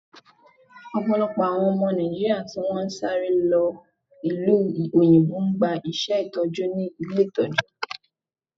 Ọ̀pọ̀lọpọ̀ àwọn ọmọ Nàìjíríà tí wọn ń sáré lọ ìlú òyìnbó ń gba iṣé Ìtọ́jú ní ilé Ìtọ́jú.